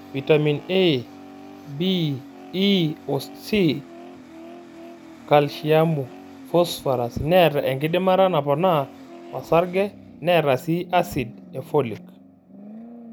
Vitamin A,B,E oo C ,kalsiamu, fosiphoras, neata enkidimata naponaa osarge neata sii asid ee folic.